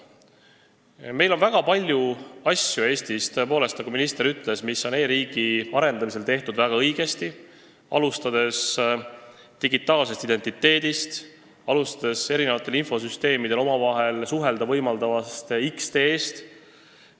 Meil on Eestis väga palju asju, tõepoolest, nagu minister ütles, mis on e-riigi arendamisel tehtud väga õigesti, alustades digitaalsest identiteedist ja infosüsteemidel omavahel suhelda võimaldavast X-teest.